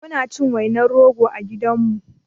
Muna cin wainar rogo a gidanmu